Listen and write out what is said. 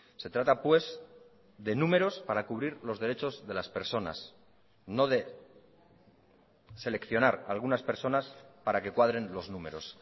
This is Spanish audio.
se trata pues de números para cubrir los derechos de las personas no de seleccionar algunas personas para que cuadren los números